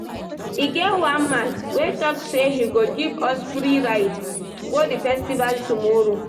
E get one man wey talk say he go give us free ride go the festival tomorrow